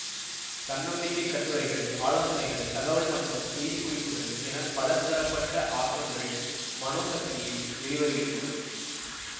தன்னம்பிக்கைக் கட்டுரைகள் ஆலோசனைகள் தகவல் மற்றும் செய்தி குறிப்புகள் என பல தரப்பட்ட ஆக்கங்கள் மனோசக்தியில் வெளிவருகின்றன